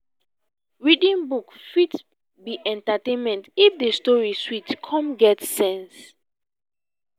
reading book fit be entertainment if the story sweet come get sense.